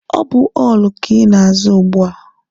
Ọ bụ họọlụ ka ị na-aza ugbua?